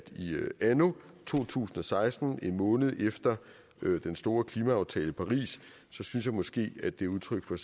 i anno to tusind og seksten en måned efter den store klimaaftale i paris synes jeg måske at det er udtryk for